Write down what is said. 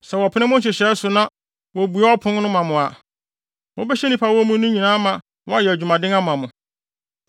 Sɛ wɔpene mo nhyehyɛe so na wobue wɔn apon ma mo a, mobɛhyɛ nnipa a wɔwɔ mu no nyinaa ama wɔayɛ adwumaden ama mo.